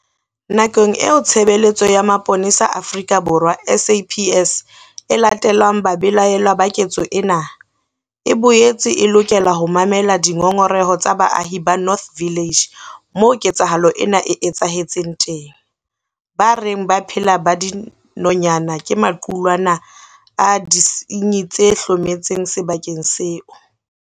Nakong eo Tshebeletso ya Mapolesa Afrika Borwa, SAPS, e latellang babelaellwa ba ketso ena, e boetse e lokela ho mamela dingongoreho tsa baahi ba North Village, moo ketsahalo ena e etsahetseng teng, ba reng ba phela ba dinonyana ke maqulwana a disenyi tse hlometseng sebakeng seo.